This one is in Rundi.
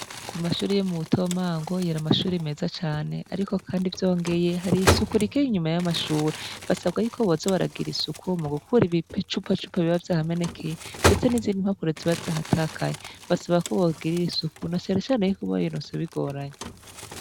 Ku mashuri yo mu Butomango yari amashuri meza cane ariko kandi vyongeye, hari isuku rike inyuma y'amashuri. Basabwa yuko boza baragira isuku mu gukura ibi cupacupa biba vyahamenekeye, ndetse n'izindi impapuro zibazahatakaye basaba ko bogirira isuku na cane cane yuko barironse bigoranye.